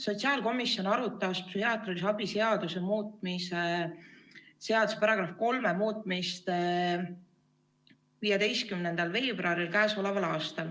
Sotsiaalkomisjon arutas psühhiaatrilise abi seaduse § 3 muutmist k.a 15. veebruaril.